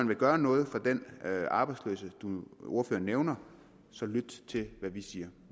vil gøre noget for den arbejdsløse han nævner så lyt til hvad vi siger